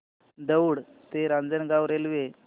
दौंड ते रांजणगाव रेल्वे